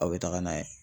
Aw bɛ taga n'a ye